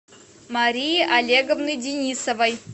марии олеговны денисовой